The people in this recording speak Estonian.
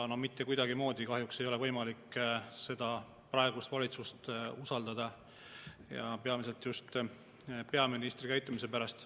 No mitte kuidagimoodi ei ole võimalik praegust valitsust kahjuks usaldada, peamiselt just peaministri käitumise pärast.